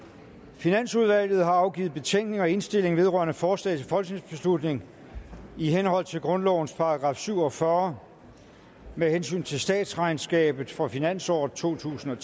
finansudvalget har afgivet betænkning og indstilling vedrørende forslag til folketingsbeslutning i henhold til grundlovens § syv og fyrre med hensyn til statsregnskabet for finansåret totusinde